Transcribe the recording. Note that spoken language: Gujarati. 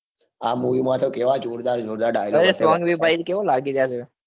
આ movie મતો કેવા જોરદાર જોરદાર dialogue અરે ત્રણ વ ભાઈ કેવો લાગે